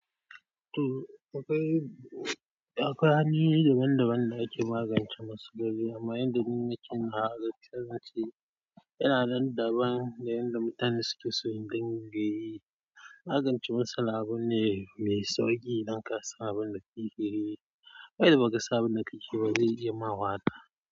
To, akwai akwai hanyoyi daban daban da ake magance matsaloli amma yanda ni nake magance shi yana daban da yanda mutane suke so in dangayi. Magance matsala abun ne mai sauƙi idan kasan abunda kakeyi. Kuma idan ba ka san abunda kakeyi ba zai iya ma wahala.